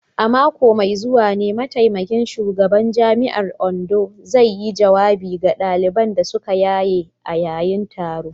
A mako mai zuwa ne mataimakin shugaban jami’ar Ondo zai yi jawabi ga daliban da suka yaye a yayin taron.